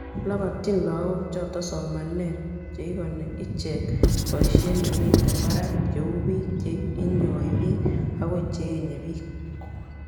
labatyini lagook choto somanet cheigoni icheek voishetchemiten barak cheu biik che inyoi biik ago cheenye biik